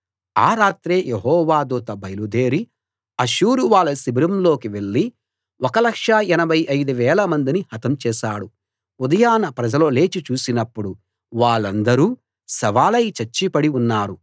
ఆ రాత్రే యెహోవా దూత బయలుదేరి అష్షూరు వాళ్ళ శిబిరంలోకి వెళ్లి 1 85000 మందిని హతం చేశాడు ఉదయాన ప్రజలు లేచి చూసినప్పుడు వాళ్ళందరూ శవాలై చచ్చి పడి ఉన్నారు